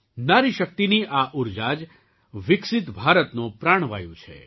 નારીશક્તિની આ ઊર્જા જ વિકસિત ભારતનો પ્રાણવાયુ છે